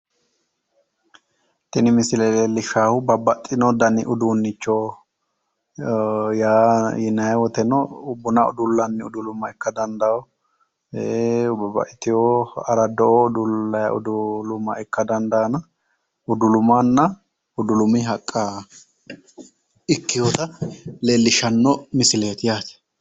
Tini misile leellishshaahu babbaxxino dani uduunnicho yaa yinayi woteno buna udulanni uduluma ikka dandayo babbaxxiteyo araddo"oo udullayi uduluma ikka dandayoona udulumanna udulumi haqqa ikkeyoota leellishshanno misileeti yaate.